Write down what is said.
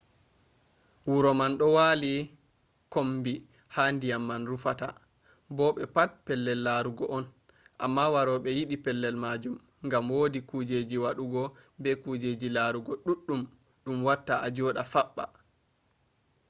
wuro man do wali kombi ha diyam man rufata bo be pat pellel larugo on amma warobe yidi pellel majum gam wodi kujjeji wadugo be kujjeji larugo duddum dum watta ajoda fabba